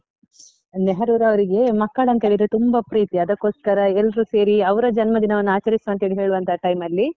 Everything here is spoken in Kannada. ನೆಹರೂರವರಿಗೆ ಮಕ್ಕಳಂತ ಹೇಳಿದ್ರೆ ತುಂಬಾ ಪ್ರೀತಿ ಅದಕೋಸ್ಕರ ಎಲ್ರೂ ಸೇರಿ ಅವರ ಜನ್ಮದಿನವನ್ನ ಆಚರಿಸ್ವ ಅಂತ ಹೇಳುವಂತ time ಅಲ್ಲಿ.